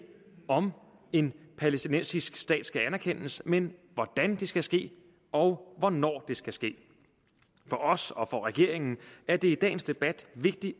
om en palæstinensisk stat skal anerkendes men hvordan det skal ske og hvornår det skal ske for os og for regeringen er det i dagens debat vigtigt